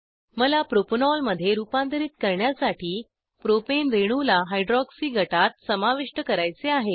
मला प्रोपॅनॉल मध्ये रुपांतरीत करण्यासाठी प्रोपेन रेणूला हायड्रॉक्सी गटात समाविष्ट करायचे आहे